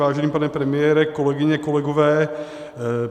Vážený pane premiére, kolegyně, kolegové.